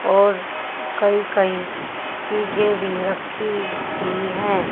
और कई कई चीजे भी रखी हुई है।